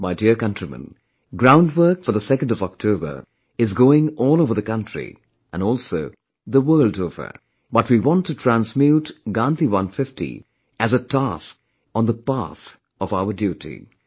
My dear countrymen, groundwork for 2nd October is going on all over the country and also the world over, but we want to transmute 'Gandhi 150' as a task on the path of our duty